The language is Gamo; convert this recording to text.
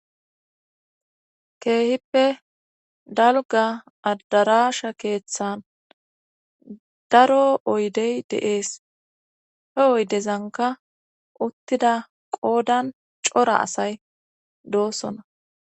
keehippe dalga adarasha keeththan daro oydey deees he oydezanka uttida qoodan cora asay doosona